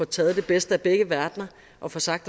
taget det bedste af begge verdener og får sagt